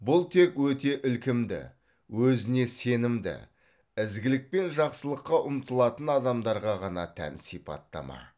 бұл тек өте ілкімді өзіне сенімді ізгілік пен жақсылыққа ұмтылатын адамдарға ғана тән сипаттама